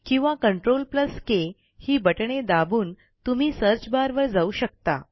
किंवा CTRLK ही बटणे दाबून तुम्ही सर्च barवर जाऊ शकता